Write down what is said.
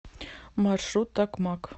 маршрут такмак